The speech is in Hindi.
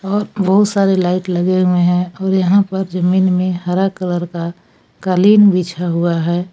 और बहुत सारे लाइट लगे हुए हैं और यहां पर जमीन में हरा कलर का कालीन बिछा हुआ है।